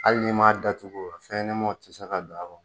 Hali n'i m'a datugu fɛnɲɛnamaw tɛ se ka don a kɔnɔ